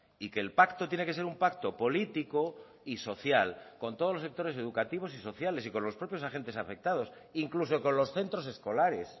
y que el pacto tiene que ser un pacto político y social con todos los sectores educativos y sociales y con los propios agentes afectados incluso con los centros escolares